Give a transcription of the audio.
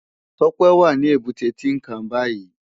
Tope wá ni ébùté Tinkán bàyí